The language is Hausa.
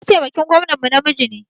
Mataimakin gwamnan mu namiji ne.